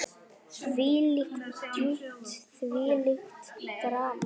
Þvílík dýpt, þvílíkt drama.